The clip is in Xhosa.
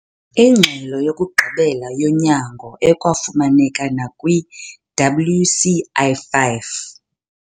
Ingxelo yokugqibela yonyango - ekwafumaneka nakwi-WCI 5,